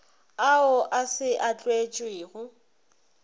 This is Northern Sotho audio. ao a se a tlišwego